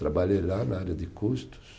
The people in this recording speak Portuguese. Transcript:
Trabalhei lá na área de custos.